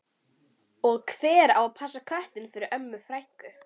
Og hver á að passa köttinn fyrir Önnu frænku?